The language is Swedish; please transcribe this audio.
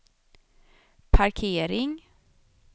parkering